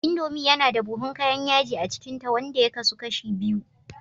Indomie yana da buhun kayan yaji a cikinta, wanda ya kasu kashi biyu